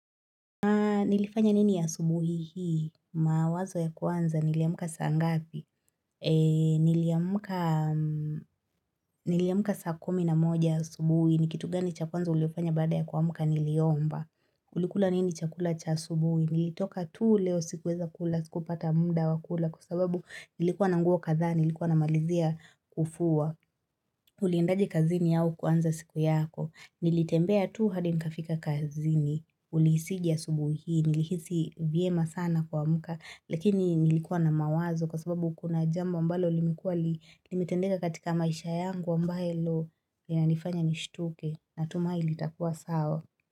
Nilifanya nini asubuhi hii, mawazo ya kwanza, niliamka saa ngapi, niliamka saa kumi na moja asubuhi, ni kitu gani cha kwanza ulifanya baada ya kuamka niliomba, ulikula nini chakula cha asubuhi, nilitoka tu leo sikuweza kula, sikupata mda wakula, kwa sababu nilikuwa na nguo kadhaa, nilikuwa namalizia kufua, uliendaje kazini au kuanza siku yako, nilitembea tu hadi nikafika kazini, ulihisije asubuhi hii, nilihisi vyema sana kuamka lakini nilikuwa na mawazo kwa sababu kuna jambo ambalo limekuwa limetendeka katika maisha yangu ambalo linanifanya nishtuke natumai litakuwa sawa.